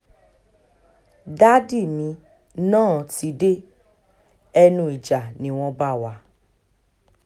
dádì mi náà ti dé ẹnu ìjà ni wọ́n bá wá